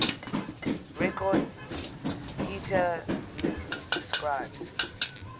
record hetatm describes